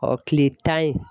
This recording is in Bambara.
kile tan in